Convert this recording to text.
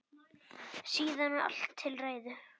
Síðan er allt til reiðu.